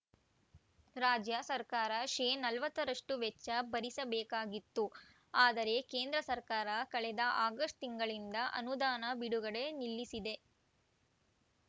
ರಾಜ್ಯ ಸರ್ಕಾರ ಶೇ ನಲವತ್ತರಷ್ಟುವೆಚ್ಚ ಭರಿಸಬೇಕಾಗಿತ್ತು ಆದರೆ ಕೇಂದ್ರ ಸರ್ಕಾರ ಕಳೆದ ಆಗಸ್ಟ್‌ ತಿಂಗಳಿಂದ ಅನುದಾನ ಬಿಡುಗಡೆ ನಿಲ್ಲಿಸಿದೆ